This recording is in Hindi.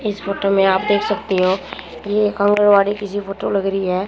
इस फोटो में आप देख सकती हो ये एक आंगनबाड़ी किसी फोटो लग रही है।